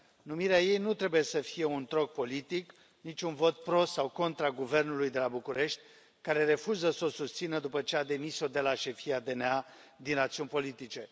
Numirea ei nu trebuie să fie un troc politic, nici un vot pro sau contra guvernului de la București, care refuză să o susțină după ce a demis o de la șefia DNA din rațiuni politice.